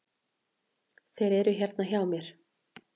Þeir eru hérna hjá mér.